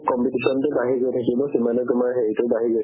competition তো বাঢ়ি গৈ থাকিব সিমানে তুমাৰ হেৰিতো বাঢ়ি গৈ থাকিব